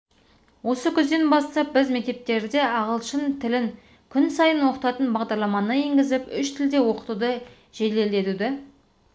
осы күзден бастап біз мектептерде ағылшын тілін күн сайын оқытатын бағдарламаны енгізіп үш тілде оқытуды жеделдетуды